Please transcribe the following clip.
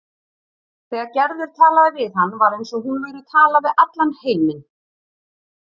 Þegar Gerður talaði við hann var eins og hún væri að tala við allan heiminn.